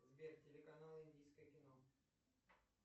сбер телеканал индийское кино